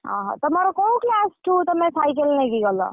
ଓହୋ ତମର କୋଉ class ଠୁ ତମେ cycle ନେଇକି ଗଲ?